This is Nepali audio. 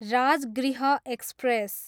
राजगृह एक्सप्रेस